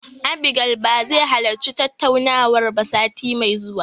Abigail ba zai halarci tattaunawar ba sati mai zuwa.